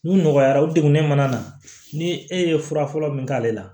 N'u nɔgɔyara u degunnen mana na ni e ye fura fɔlɔ min k'ale la